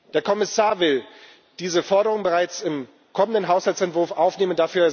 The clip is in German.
Der Kommissar will diese Forderung bereits im kommenden Haushaltsentwurf aufnehmen.